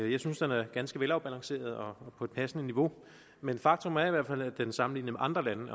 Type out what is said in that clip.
jeg synes den er ganske velafbalanceret og på et passende niveau men faktum er i hvert fald at den sammenlignet med andre lande